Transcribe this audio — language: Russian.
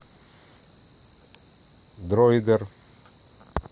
дроидер